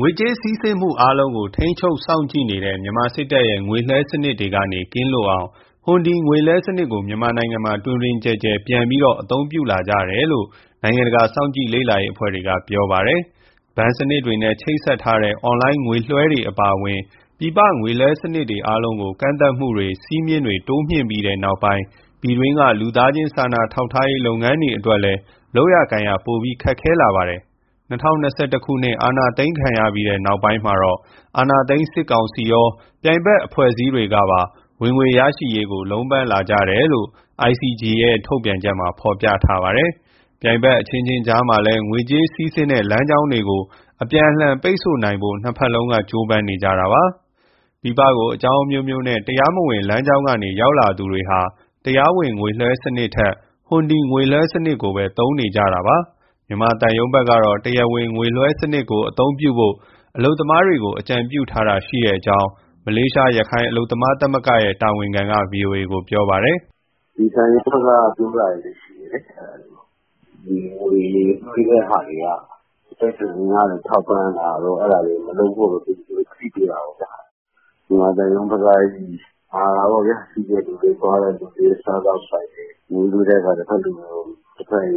ငွေကြေးစီးဆင်းမှု အားလုံးကို ထိန်းချုပ်စောင့်ကြည့်နေတဲ့ မြန်မာစစ်တပ်ရဲ့ ငွေလွှဲစနစ်တွေကနေ ကင်းလွတ်အောင် ဟွန်ဒီငွေလွှဲစနစ်ကို မြန်မာနိုင်ငံမှာ တွင်တွင်ကျယ်ကျယ် ပြန်ပြီးတော့ အသုံးပြုလာကြတယ်လို့ နိုင်ငံတကာစောင့်ကြည့်လေ့လာရေးအဖွဲ့တွေက ပြောနေပါတယ်။ ဘဏ်စနစ်တွေနဲ့ ချိတ်ဆက်ထားတဲ့ အွန်လိုင်းငွေလွှဲတွေအပါအဝင် ပြည်ပငွေလွှဲစနစ်တွေ အားလုံးကို ကန့်သတ်မှုတွေ စည်းမျဉ်းတွေ တိုးမြင့်ပြီးနောက်ပိုင်း ပြည်တွင်းက လူသားချင်း စာနာထောက်ထားရေး လုပ်ငန်းတွေအတွက်လည်း လုပ်ကိုင်ရ ပိုပြီးခက်ခဲလာပါတယ်။ ၂၀၂၁ အာဏာသိမ်းခံရပြီး နောက်ပိုင်းမှာ အာဏာသိမ်းစစ်ကောင်စီရော ပြိုင်ဘက်အဖွဲ့အစည်းတွေကပါ ဝင်ငွေရရှိရေးအတွက် လုံးပမ်းလာကြတယ်လို့ ICG ရဲ့ ဒီနေ့ ထုတ်ပြန်ချက်မှာ ဖော်ပြထားတာပါ။ ပြိုင်ဖက်အချင်းချင်း ကြားမှာလည်း ငွေကြေးစီးဆင်းတဲ့ လမ်းကြောင်းတွေကို အပြန်အလှန် ပိတ်ဆို့နိုင်ဖို့ နှစ်ဖက်လုံးက ကြိုးပမ်းနေကြတာပါ။ ပြည်ပကို အကြောင်းအမျိုးမျိုးနဲ့ တရားမဝင် လမ်းကြောင်းကနေ ရောက်လာသူတွေဟာ တရားဝင်ငွေလွှဲစနစ်ထက် ဟွန်ဒီငွေလွှဲစနစ်ကိုပဲ သုံးနေကြတာပါ။ မြန်မာသံရုံးဘက်ကတော့ တရားဝင်ငွေလွှဲစနစ်ကို အသုံးပြုဖို့ အလုပ်သမားတွေကို အကြံပြုတာရှိကြောင်း မလေးရှား ရခိုင်အလုပ်သမား သမဂ္ဂရဲ့ တာဝန်ခံက ဗွီအိုအေကို ပြောပါတယ်။ " ဒီသံရုံးဘက်က ပြောတာတွေလည်း ရှိတယ်လေ၊ ငွေလွှဲတဲ့ဟာတွေက အတိုက်အခံတွေကို ထောက်ပံ့တာတို့ အဲဒါတွေကို မလုပ်ဖို့ သူတို့သတိပေးတာ ပေါ့ဗျာ။ မြန်မာသံရုံးဘက်က မှာတာပေါ့ဗျာ၊ သွားတဲ့သူတွေ၊ စားသောက်ဆိုင်တွေ ငွေလှူတဲ့အခါ တဖက်အင်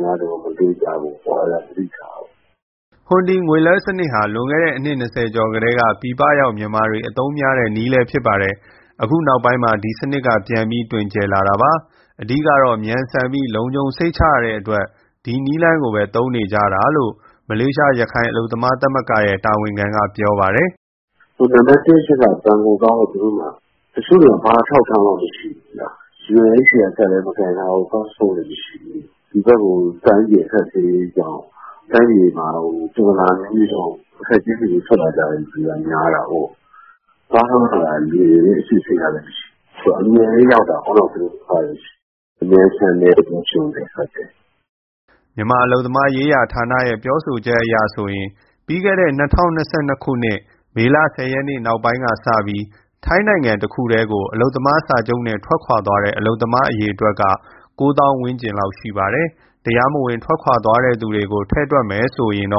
အားတွေကို မလှူကြဖို့ အဲဒါကို သတိထားဖို့။" ဟွန်ဒီငွေလွှဲစနစ်ကို လွန်ခဲ့တဲ့ အနှစ်၂၀ကျော်ကတည်းက ပြည်ပရောက် မြန်မာတွေ အသုံးများတဲ့ နည်းလည်းဖြစ်ပါတယ်။ အခုနောက်ပိုင်းမှာ ဒီစနစ်က ပြန်ပြီး တွင်ကျယ်လာတာပါ။ အဓိကတော့ မြန်ဆန်ပြီး လုံခြုံစိတ်ချရတဲ့အတွက် ဒီနည်းလမ်းကိုပဲ သုံးနေကြတာလို့ မလေးရှား ရခိုင်အလုပ်သမားသမဂ္ဂရဲ့ တာဝန်ခံက ပြောပါတယ်။ "နံပတ်တစ်အချက်က ဘဏ်ကိုသွားဖို့ သူတို့မှာ တချို့ဆိုရင် ဘာအထောက်အထားမှ မရှိဘူးဗျ၊ UNHCR ကတ်လည်း မကိုင်ထားဘူး၊ ပတ်စ်ပို့လည်း မရှိဘူး။ ဒီဘက်ကို တိုင်းပြည် အခက်အခဲကြောင့်၊ တိုင်းပြည်မှာ ပြဿနာ အမျိုးမျိုးကြောင့် အခက်အခဲတွေနဲ့ ထွက်လာကြတဲ့သူက များတာကိုး။ သွားထုတ်ရတာလည်း လွယ်တယ်လေ၊ အစစ်အဆေးကလည်း မရှိ။ ဆိုတော့ အမြန်လည်း ရောက်တာကိုး။ မြန်ဆန်တယ်၊ လုံခြုံတယ်။" မြန်မာအလုပ်သမားရေး ဌာနရဲ့ ပြောဆိုချက်အရဆိုရင် ပြီးခဲ့တဲ့ ၂၀၂၂ မေလ၁၀ရက် နောက်ပိုင်းကစပြီး ထိုင်းတခုတည်းကို အလုပ်သမားစာချုပ်နဲ့ ထွက်ခွာသွားတဲ့ အလုပ်သမား အရေအတွက်က ၉ သောင်း ဝန်းကျင်ရှိပါတယ်။ တရားမဝင် ထွက်ခွာတဲ့သူတွေကိုပါ ထည့်တွက်မယ်ဆိုရင်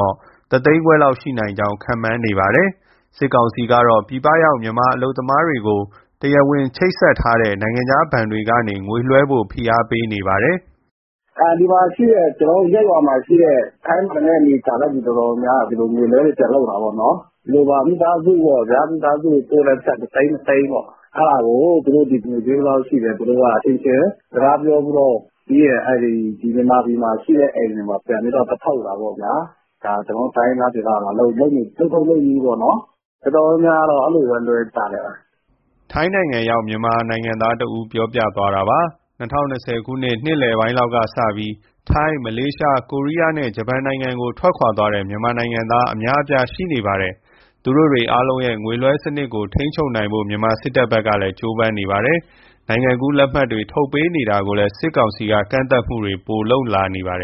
တသိန်းခွဲလောက် ရှိနိုင်ကြောင်း ခန့်မှန်းနေတာလည်း ရှိပါတယ်။ စစ်ကောင်စီကတော့ ပြည်ပရောက် မြန်မာအလုပ်သမားတွေကို တရားဝင်ချိတ်ဆက်ထားတဲ့ နိုင်ငံခြား ဘဏ်တွေကနေ ငွေလွှဲဖို့ ဖိအားပေးနေပါတယ်။ " ကျနော်တို့ ဒီမှာရှိတဲ့ ထိုင်းမှာအနေကြာတဲ့သူ အတော်များများက ဒီလိုငွေလွှဲတွေ ပြန်လုပ်တာတောပေါ့နော်။ ဒီလိုပါ မိသားစုကိုပို့တဲ့ပိုက်ဆံ တသိန်း၊ နှစ်သိန်းပေါ့ အဲဒါကို သူတို့ငွေဈေး ဘယ်လောက်ရှိတယ်၊ အချင်းချင်း စကားပြောပြီးတော့ ပြီးရင် မြန်မာပြည်မှာရှိတဲ့ အိမ်တွေမှာ ပြန်ပြီးသွားထုတ်တာပေါ့ဗျာ။ ဒါကျနော်တို့ တိုင်းရင်းသားဒေသမှာ လုပ်ထုံးလုပ်နည်းပေါ့နော်။ တော်တော်များများကတော့ အဲလိုပဲ လွှဲကြတယ်။" ထိုင်းရောက် မြန်မာနိုင်ငံသားတဦး ပြောပြသွားတာပါ။ ၂၀၂၂ နှစ်လယ်ပိုင်းကစပြီး ထိုင်း၊ မလေးရှား၊ ကိုရီးယားနဲ့ ဂျပန်ကို ထွက်ခွာသွားတဲ့ မြန်မာနိုင်ငံသား အများအပြား ရှိနေပါတယ်။ သူတို့အားလုံးရဲ့ ငွေလွှဲစနစ်ကို ထိန်းချုပ်နိုင်ဖို့ မြန်မာစစ်တပ်ဘက်က ကြိုးပမ်းနေပါတယ်။ နိုင်ငံကူးလက်မှတ် ထုတ်ပေးနေတာတွေကိုလည်း စစ်ကောင်စီက ကန့်သတ်မှုတွေပိုလုပ်လာပါတယ်